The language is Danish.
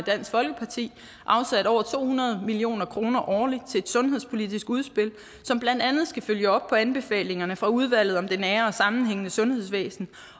dansk folkeparti afsat over to hundrede million kroner årligt til et sundhedspolitisk udspil som blandt andet skal følge op på anbefalingerne fra udvalget om det nære og sammenhængende sundhedsvæsen